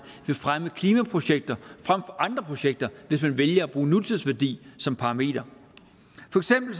vil fremme klimaprojekter frem for andre projekter hvis man vælger at bruge nutidsværdi som paramenter